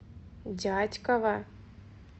дятьково